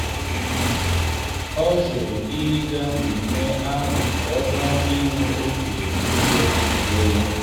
ọ jụrụ ịga mmemme ahụ họrọkwa inwe oge udo maka onwe ya.